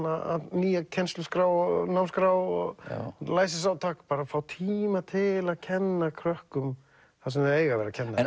nýja kennsluskrá námsskrá og læsisátak bara að fá tíma til að kenna krökkum það sem þau eiga að vera að kenna en